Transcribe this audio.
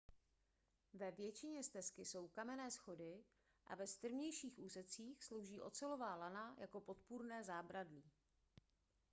ve většině stezky jsou kamenné schody a ve strmějších úsecích slouží ocelová lana jako podpůrné zábradlí